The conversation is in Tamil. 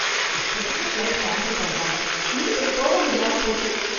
இஷ்டத்துக்கு ஃபிளைட் கேன்சல் பண்றாங்க மீட்டிங் போக முடியாம போச்சு.